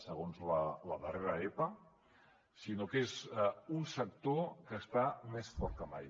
segons la darrera epa és un sector que està més fort que mai